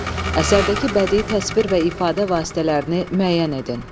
Əsərdəki bədii təsvir və ifadə vasitələrini müəyyən edin.